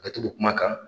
A bɛ t'o kuma kan